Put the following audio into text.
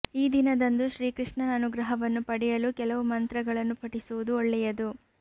ಈ ದಿನದಂದು ಶ್ರೀಕೃಷ್ಣನ ಅನುಗ್ರಹವನ್ನು ಪಡೆಯಲು ಕೆಲವು ಮಂತ್ರಗಳನ್ನು ಪಠಿಸುವುದು ಒಳ್ಳೆಯದು